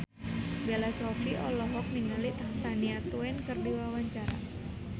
Bella Shofie olohok ningali Shania Twain keur diwawancara